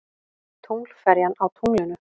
Tunglferjan á tunglinu.